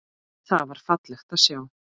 Það var fallegt að sjá.